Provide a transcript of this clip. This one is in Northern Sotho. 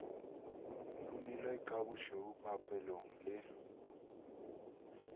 rumilwe ka bošweu papelong le